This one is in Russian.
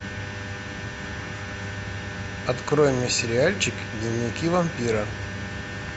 открой мне сериальчик дневники вампира